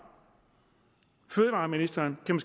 fødevareministeren kan